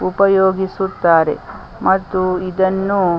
ಉಪಯೋಗಿಸುತ್ತಾರೆ ಮತ್ತು ಇದನ್ನು .